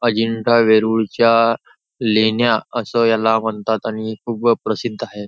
अजिंठा वेरूळच्या लेण्या अस याला म्हणतात आणि खूप प्रसिद्ध हाये.